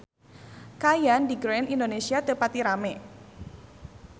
Kaayaan di Grand Indonesia teu pati rame